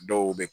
Dɔw bɛ